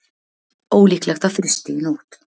Ólíklegt að frysti í nótt